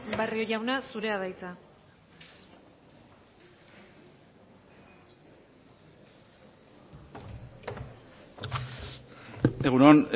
barrio jauna zurea da hitza egun on